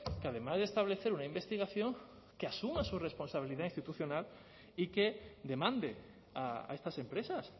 que además de establecer una investigación que asuma su responsabilidad institucional y que demande a estas empresas